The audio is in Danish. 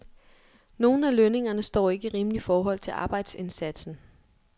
Nogle af lønningerne står ikke i rimeligt forhold til arbejdsindsatsen.